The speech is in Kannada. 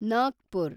ನಾಗ್ಪುರ